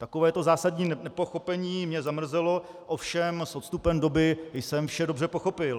Takové zásadní nepochopení mě zamrzelo, ovšem s odstupem doby jsem vše dobře pochopil.